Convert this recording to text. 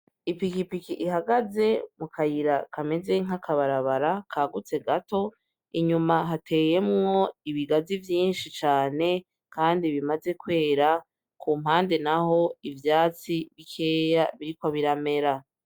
Ipikipiki ihagaze mu kayira kameze nk’akabarabara kagutse gato, inyuma hateyemwo ibigazi vyinshi cane Kandi bimaze kwera ku mpande naho ivyatsi bikeya biriko biramera .